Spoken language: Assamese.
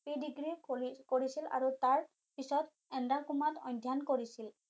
Predegree কৰিছিল আৰু তাৰ পিছত অধ্যয়ণ কৰিছিল